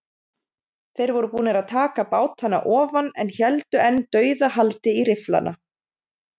Þeir voru búnir að taka bátana ofan en héldu enn dauðahaldi í rifflana.